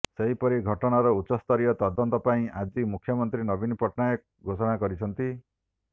ସେହିପରି ଘଟଣାର ଉଚ୍ଚସ୍ତରୀୟ ତଦନ୍ତ ପାଇଁ ଆଜି ମୁଖ୍ୟମନ୍ତ୍ରୀ ନବୀନ ପଟ୍ଟନାୟକ ଘୋଷଣା କରିଛନ୍ତି